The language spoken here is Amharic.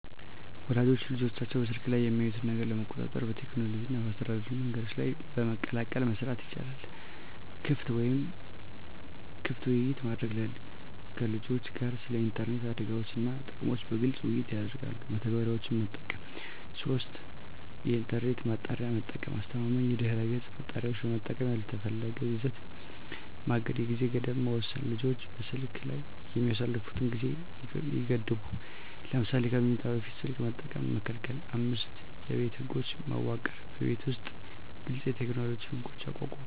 ወላጆች ልጆቻቸው በስልክ ላይ የሚያዩትን ነገር ለመቆጣጠር በቴክኖሎጂ እና በአስተዳደር መንገዶች በመቀላቀል መስራት ይቻላል። 1. ክፍት ውይይት ማድረግ ከልጆችዎ ጋር ስለ ኢንተርኔት አደጋዎች እና ጥቅሞች በግልፅ ውይይት ያድርጉ። 2. መተግበሪያዎች መጠቀም 3. የኢንተርኔት ማጣሪያ መጠቀም አስተማማኝ የድህረገፅ ማጣሪያዎችን በመጠቀም ያልተፈለገ ይዘት ማገድ 4. የጊዜ ገደብ መወሰን ልጆች በስልክ ላይ የሚያሳልፉትን ጊዜ ይገድቡ። ለምሳሌ ከመኝታ በፊት ስልክ መጠቀም መከልከል። 5የቤት ህጎች መዋቅር በቤት ውስጥ ግልፅ የቴክኖሎጂ ህጎች ያቋቁሙ።